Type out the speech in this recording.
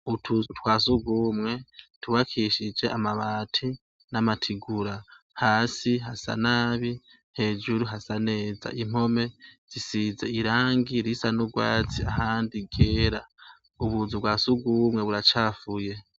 Utuzu twa sugumwe twubakishije amabati n'amatigura. Hasi hasa nabi. Hejuru hasa neza. Impome zisize irangi risa n'ugwatsi ahandi ryera. Ubuzu bwa sugumwe buracafuye.